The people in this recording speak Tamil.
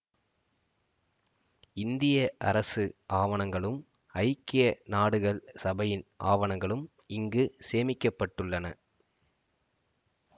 இந்திய அரசு ஆவணங்களும் ஐக்கிய நாடுகள் சபையின் ஆவணங்களும் இங்கு சேமிக்க பட்டுள்ளன